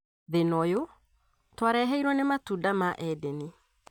Thĩna ũyũ twareheirwo nĩ matunda ma edeni